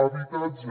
habitatge